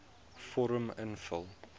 vorm invul